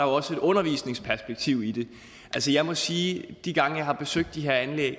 også et undervisningsperspektiv i det altså jeg må sige at de gange jeg har besøgt de her anlæg